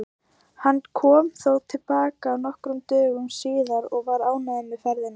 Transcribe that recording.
Hann kom þó til baka nokkrum dögum síðar og var ánægður með ferðina.